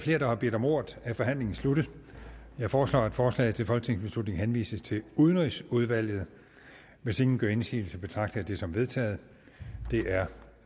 flere der har bedt om ordet er forhandlingen sluttet jeg foreslår at forslaget til folketingsbeslutning henvises til udenrigsudvalget hvis ingen gør indsigelse betragter jeg det som vedtaget det er